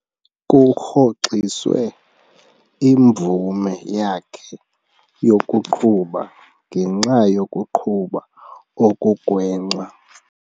Kurhoxiswe imvume yakhe yokuqhuba ngenxa yokuqhuba okugwenxa.